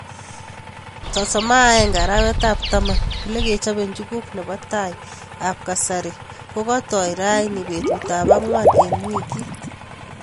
31 arawet ab taman olekichobe njuguk nebo tai ab kasari kokatai rani betut ab angwan eng' wikit.